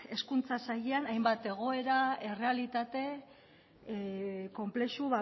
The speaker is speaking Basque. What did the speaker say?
hezkuntza sailean hainbat egoera errealitate konplexu